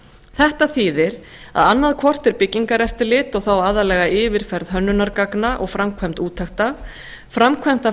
þetta þýðir að annaðhvort er byggingareftirlit og þá aðallega yfirferð hönnunargagna og framkvæmd úttekta framkvæmd af